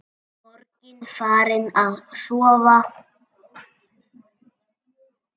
Borgin farin að sofa.